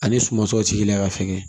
Ani suma tɔw tigi la ka fɛngɛ